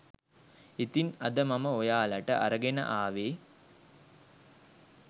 ඉතින් අද මම ඔයාලට අරගෙන ආවෙ